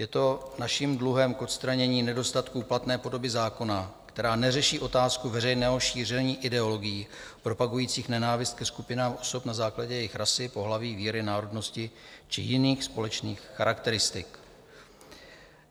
Je to naším dluhem k odstranění nedostatků platné podoby zákona, která neřeší otázku veřejného šíření ideologií propagujících nenávist ke skupinám osob na základě jejich rasy, pohlaví, víry, národnosti či jiných společných charakteristik.